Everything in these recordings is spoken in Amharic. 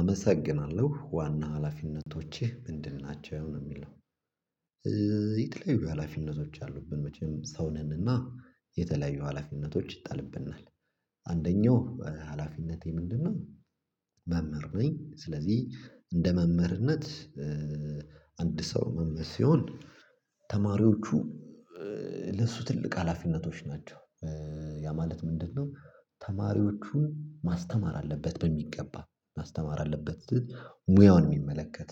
አመሰግናለሁ ዋና ሀላፊነቶችህ ምንድን? ናቸው ነው የሚል። የተለያዩ ሀላፊነቶች አሉብን መቼም ሰው ነንና የተለያዩ ሀላፊነቶች ይጣልብናል። አንደኛው ሀላፊነቴ ምንድነው? መምህር ነኝ ስለዚህ እንደ መምህርነት። ሰው መምህር ሲሆን ተማሪዎቹ ለሱ ትልቅ ሀላፊነቶች ናቸው። ያ ማለት ምንድነው? ተማሪዎቹን ማስተማር አለበት በሚገባ ማስተማር አለበት። ሙያውን የሚመለከት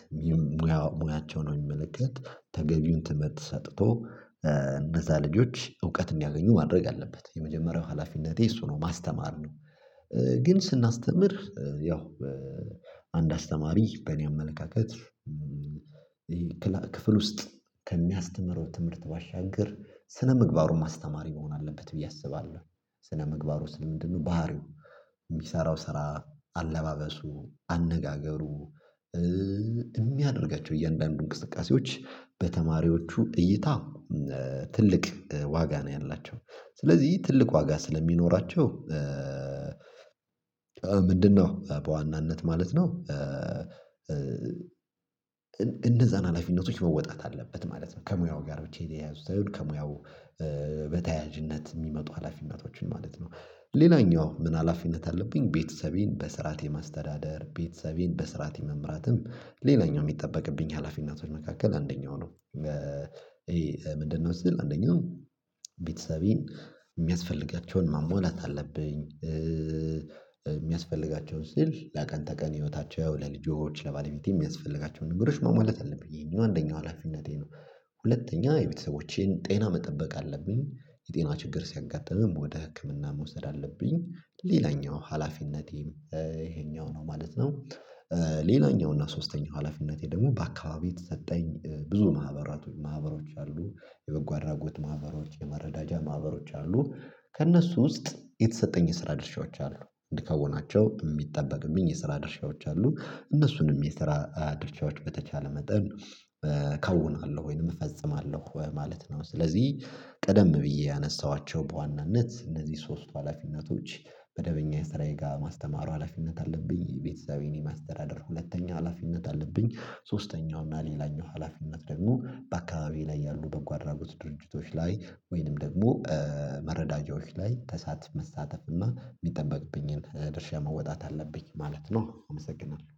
ሙያቸውን የሚመለከት ተገቢውን ትምህርት ሰጥቶ እነዛ ልጆች እውቀት እንዲያገኙ ማድረግ አለበት የመጀመሪያው ሀላፊነቴ እሱ ነው ማስተማር ነው። ግን ስናስተምር ያው አንድ አስተማሪ በእኔ አመለካከት ክፍል ውስጥ ከሚያስተምረው ትምህርት ባሻገር ስነምግባሩን ማስተማር የሚሆን አለበት ብዬ አስባለሁ ስነምግባሩ ስል ምንድነው? ባህሪው የሚሰራው ስራ አለባበሱ አነጋገሩ የሚያደርጋቸው እያንዳንዱ እንቅስቃሴዎች በተማሪዎቹ እይታ ትልቅ ዋጋ ነው ያላቸው ስለዚህ ትልቅ ዋጋ ስለሚኖራቸው። ምንድነው በዋናነት ማለት ነው። እነዛን ሀላፊነቶች መወጣት አለበት ማለት ነው ከሙያው ጋር ብቻ የተያያዙት ሳይሆን ከሙያው በተያያዥነት የሚመጡ ሀላፊነቶችን ማለት ነው። ሌላኛው ምን ሀላፊነት አለብኝ? ቤተሰቤን በስርዓት የማስተዳደር ቤተሰቤን በስራት መምራትም ሌላኛው የሚጠበቅብኝ ሀላፊነቶች መካከል አንደኛው ነው። ይሄ ምንድነው? አንደኛው ቤተሰቤን የሚያስፈልጋቸውን ማሟላት አለብኝ። የሚያስፈልጋቸውን ስል ለቀን ተቀን ህይወታቸው ለልጆች ለባለቤቴ የሚያስፈልጋቸውን ንግሮች ማሟላት አለብኝ ይሄኛው አንደኛው ሀላፊነቴ ነው። ሁለተኛ የቤተሰቦቼን ጤና መጠበቅ አለብኝ። የጤና ችግር ሲያጋጥምም ወደ ህክምና መውሰድ አለብኝ። ሌላኛው ሀላፊነቴም ይሄኛው ነው ማለት ነው። ሌላኛው እና ሶስተኛው ሀላፊነቴ ደግሞ በአካባቢ የተሰጠኝ ብዙ ማህበራቶች ማህበሮች አሉ። የበጎ አድራጎት ማህበሮች የመረዳጃ ማህበሮች አሉ ከእነሱ ውስጥ የተሰጠኝ የስራ ድርሻዎች አሉ። እንድከውናቸው የሚጠበቅብኝ የስራ ድርሻዎች አሉ እነሱንም የስራ ድርሻዎች በተቻለ መጠን እከውናለሁ ወይንም እፈጽማለሁ ማለት ነው። ስለዚህ ቀደም ብዬ ያነሳኋቸው በዋናነት እነዚህ ሶስቱ ሀላፊነቶች። መደበኛ የስራዬ ጋር ማስተማሩ ሀላፊነት አለብኝ። ቤተሰቤን የማስተዳደር ሁለተኛ ሀላፊነት አለብኝ። ሶስተኛው እና ሌላኛው ሀላፊነት ደግሞ በአካባቢው ላይ ያሉ በጎ አድራጎት ድርጅቶች ላይ ወይንም ደግሞ መረዳጃዎች ላይ መሳተፍ እና የሚጠበቅብኝን ድርሻ መወጣት አለብኝ ማለት ነው። አመሰግናለሁ